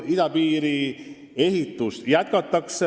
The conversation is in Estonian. Idapiiri ehitust jätkatakse.